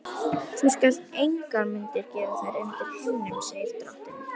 Þú skalt engar myndir gera þér undir himninum, segir drottinn.